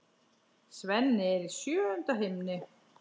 Svenni er í sjöunda himni.